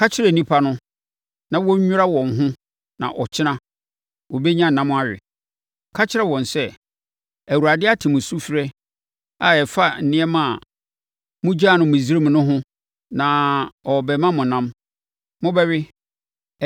“Ka kyerɛ nnipa no na wɔnnwira wɔn ho na ɔkyena, wɔbɛnya ɛnam awe. Ka kyerɛ wɔn sɛ, ‘ Awurade ate mo sufrɛ a ɛfa nneɛma a mogyaa no Misraim no ho na ɔrebɛma mo ɛnam. Mobɛwe;